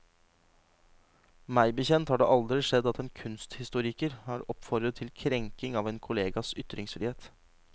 Meg bekjent har det aldri skjedd at en kunsthistoriker har oppfordret til krenking av en kollegas ytringsfrihet.